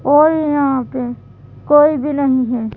और यहाँ पे कोई भी नहीं है।